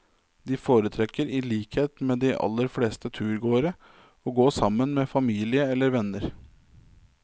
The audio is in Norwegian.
De foretrekker, i likhet med de aller fleste turgåere, å gå sammen med familie eller venner.